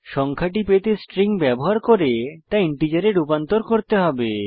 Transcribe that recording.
সংখ্যাটি পেতে স্ট্রিং ব্যবহার করে তা ইন্টিজারে রূপান্তর করতে হবে